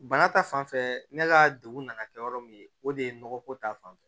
Bana ta fanfɛ ne ka degun nana kɛ yɔrɔ min ye o de ye nɔgɔko ta fanfɛ